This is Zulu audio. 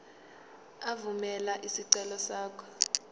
evumela isicelo sakho